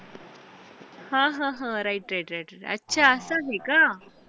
हा हा हा right right right अच्छा असचं आहे का?